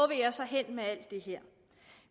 jeg så hen med alt det her